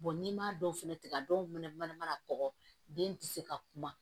n'i m'a dɔw fɛnɛ tigɛ a dɔw fɛnɛ mana mana kɔgɔ den tɛ se ka kuma